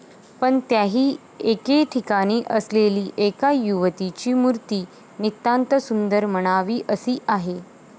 पण त्याही एके ठिकाणी असलेली एका युवतीची मूर्ती नितांत सुंदर म्हणावी अशी आहे.